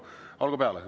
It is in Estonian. Olgu peale.